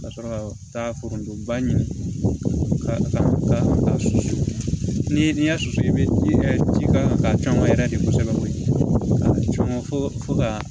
Ka sɔrɔ ka taa foronto ba ɲini ka taa susu ni diɲɛ su bɛ ji kɛ ji ka caman yɛrɛ de kosɛbɛ fo fo ka